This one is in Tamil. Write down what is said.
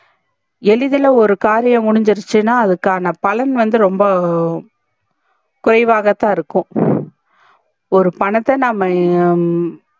எளிதுல ஒரு காரியம் முடிஞ்சிருச்சினா அதுக்கான பலன் வந்து ரொம்ப குறைவாகதா இருக்கும் ஒரு பணத்தை நாம